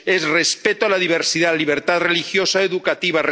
es respeto a la diversidad, a la libertad religiosa, educativa